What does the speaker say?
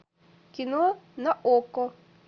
кино на окко